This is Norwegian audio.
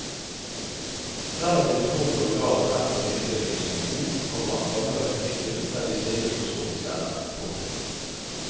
Relativt tro mot originalen fremstår nyinnspillingen som en god, komma gammeldags krigsfilm der de snille slåss mot de slemme. punktum